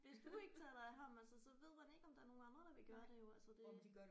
Hvis du ikke tager dig af ham altså så ved man ikke om der er nogle andre der vil gøre det jo altså det